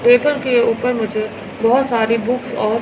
table के ऊपर मुझे बहोत सारे बुक्स और--